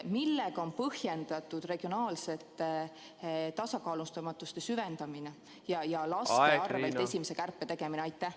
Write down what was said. Millega on põhjendatud regionaalse tasakaalustamatuse süvendamine ja laste arvel esimese kärpe tegemine?